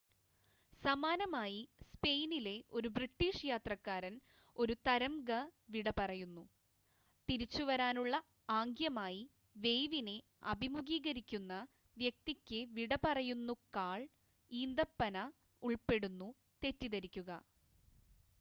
സമാനമായി സ്‌പെയിനിലെ ഒരു ബ്രിട്ടീഷ് യാത്രക്കാരൻ ഒരു തരംഗ വിടപറയുന്നു തിരിച്ചുവരാനുള്ള ആംഗ്യമായി വേവിനെ അഭിമുഖീകരിക്കുന്ന വ്യക്തിക്ക് വിടപറയുന്നുക്കാൾ ഈന്തപ്പന ഉൾപ്പെടുന്നു തെറ്റിദ്ധരിക്കുക